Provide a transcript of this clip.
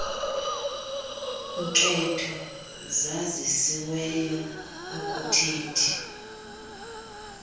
nketho zazisiweyo okuthethi